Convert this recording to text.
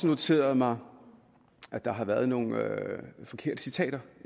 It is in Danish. noteret mig at der har været nogle forkerte citater